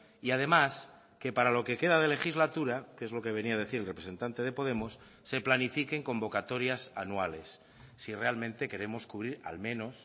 y además que para lo que queda de legislatura que es lo que venía a decir el representante de podemos se planifiquen convocatorias anuales si realmente queremos cubrir al menos